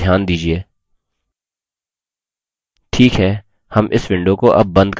ठीक है हम इस window को अब बंद करेंगे